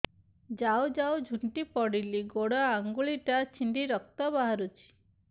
ଯାଉ ଯାଉ ଝୁଣ୍ଟି ପଡ଼ିଲି ଗୋଡ଼ ଆଂଗୁଳିଟା ଛିଣ୍ଡି ରକ୍ତ ବାହାରୁଚି